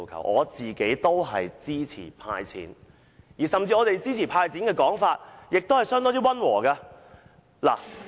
我也支持"派錢"，而我們提出支持"派錢"時，說話也相當溫和。